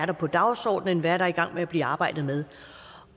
er på dagsordenen hvad der er i gang med at blive arbejdet med